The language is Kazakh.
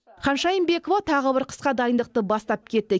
ханшайым бекова тағы бір қысқа дайындықты бастап кетті